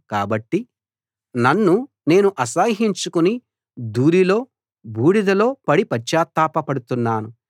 కాబట్టి నన్ను నేను అసహ్యించుకుని ధూళిలో బూడిదెలో పడి పశ్చాత్తాపపడుతున్నాను